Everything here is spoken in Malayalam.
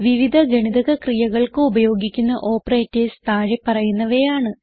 വിവിധ ഗണിതക ക്രിയകൾക്ക് ഉപയോഗിക്കുന്ന ഓപ്പറേറ്റർസ് താഴെ പറയുന്നവയാണ്